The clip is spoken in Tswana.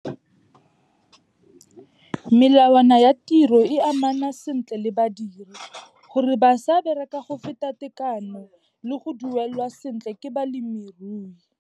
Melawana ya tiro e amana sentle le badiri gore ba sa bereka go feta tekano, le go duelwa sentle ke balemirui.